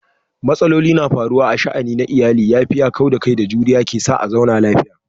Matsaloli na faruwa a sha'ani na iyali, yafiya, kauda kai da juriya ke sa a zauna lafiya.